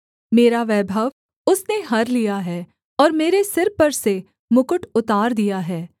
मेरा वैभव उसने हर लिया है और मेरे सिर पर से मुकुट उतार दिया है